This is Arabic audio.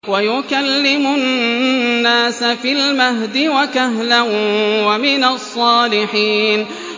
وَيُكَلِّمُ النَّاسَ فِي الْمَهْدِ وَكَهْلًا وَمِنَ الصَّالِحِينَ